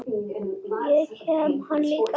Og geyma hana líka.